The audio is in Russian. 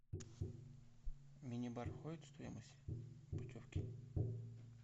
мини бар входит в стоимость путевки